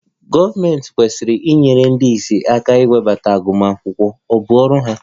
Gọọmentị kwesịrị inyere ndị ìsì aka inweta agụmakwụkwọ, ọ bụ ọrụ ha